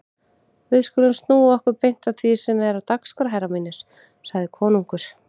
Við skulum snúa okkur beint að því sem er á dagskrá herrar mínir, sagði konungur.